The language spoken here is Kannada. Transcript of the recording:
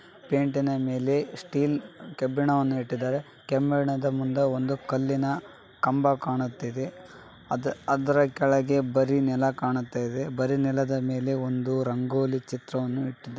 ಪೆಯಿಂಟ್‌ನ ಮೇಲೆ ಸ್ಟೀಲ್‌ ಕಬ್ಬಿಣವನ್ನು ಇಟ್ಟಿದ್ದಾರೆ ಕೆಂಬಣ್ಣದ ಮುಂದೆ ಒಂದು ಕಲ್ಲಿನ ಕಂಬ ಕಾಣುತ್ತಿದೆ ಅದರ ಕೆಳಗೆ ಬರೀ ನೆಲ ಕಾಣುತ್ತಿದೆ .ಬರಿ ನೆಲದ ಮೇಲೆ ಒಂದು ರಂಗೋಲಿ ಚಿತ್ರವನ್ನು ಇಟ್ಟಿದ್ದಾರೆ.